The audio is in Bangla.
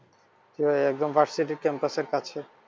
জি ভাই একদম versity campus এর কাছে।